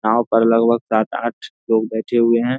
यहाँ पर लगभग सात-आठ लोग बैठे हुए हैं।